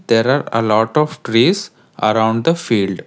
There are a lot of trees around the field.